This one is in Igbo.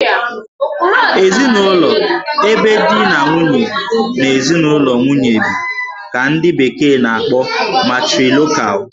Ezinụlọ ebe di na nwunye na ezinụlọ nwunye bi ka ndị bekee na- akpọ 'Matrilocal'